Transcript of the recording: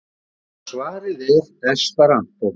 Og svarið er: esperantó.